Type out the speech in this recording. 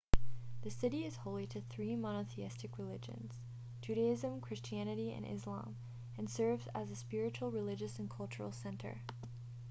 the city is holy to the three monotheistic religions judaism christianity and islam and serves as a spiritual religious and cultural center